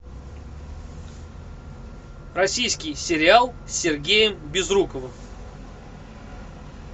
российский сериал с сергеем безруковым